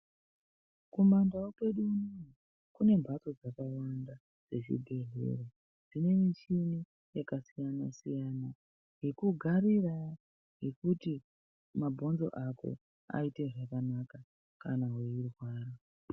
Kumandau kwedu kune mhatso dzakawanda dzezvibhehlera dzakawanda dzine muchina yakasiyana siyana ,yekugarira yekuti mabhonzo ako aite zvakanaka kana weirwara.